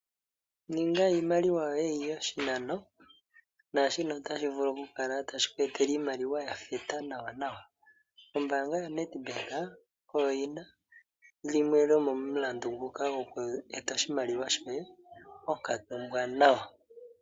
Ninga iimaliwa yoye yiye oshinano naashino otashi vulu oku kweetela iimaliwa oyindji. Ombaanga yoNedbank oyina omulandu nguka gwo kweeta oshimaliwa shoye ponkatu ombwaanawa.